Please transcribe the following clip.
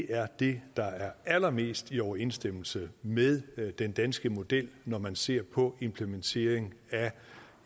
er det der er allermest i overensstemmelse med den danske model når man ser på implementeringen af